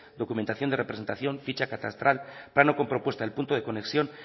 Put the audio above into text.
documentación de representación ficha catastral plano con propuesta del punto de conexión